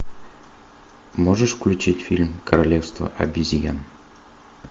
можешь включить фильм королевство обезьян